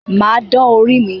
Mà á dán orí mí